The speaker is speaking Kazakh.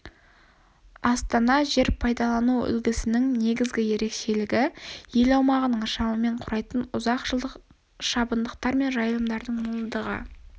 астана жер пайдалану үлгісінің негізгі ерекшелігі-ел аумағының шамамен құрайтын ұзақ жылдық шабындықтар мен жайылымдардың молдығы